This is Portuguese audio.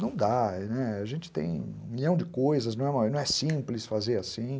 Não dá, né, a gente tem um milhão de coisas, não é simples fazer assim.